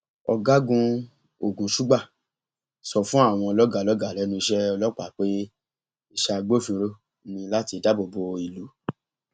ọgágun ogunṣugbà sọ fún àwọn lọgàá lọgàá lẹnu iṣẹ ọlọpàá pé iṣẹ agbófinró ní láti dáàbò bo ìlú